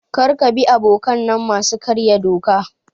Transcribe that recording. Kar ka bi abokanai masu karya doka.